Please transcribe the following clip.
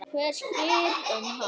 Hver spyr um hana?